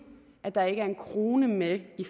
at der ikke er en krone med